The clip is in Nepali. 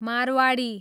मारवाडी